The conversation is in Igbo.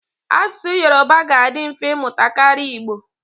Asụsụ Yoruba ga-adị mfe ịmụta karịa Igbo.